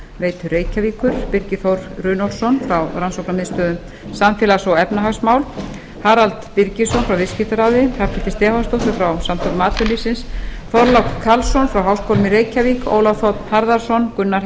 orkuveitu reykjavíkur birgi þór runólfsson frá rannsóknarmiðstöð um samfélags og efnahagsmál harald birgisson frá viðskiptaráði hrafnhildi stefánsdóttur frá samtökum atvinnulífsins þorlák karlsson frá háskólanum í reykjavík ólaf þ harðarson gunnar